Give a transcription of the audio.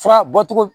Fura bɔcogo